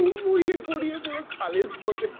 হুড়মুড়িয়ে গড়িয়ে পুরো খালের মধ্যে